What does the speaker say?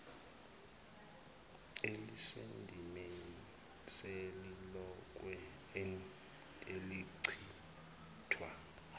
elisendimeni selilonke elichithwa